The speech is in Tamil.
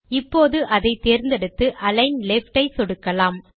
இப்போது அதை தேர்ந்தெடுத்து அலிக்ன் லெஃப்ட் ஐ சொடுக்கலாம்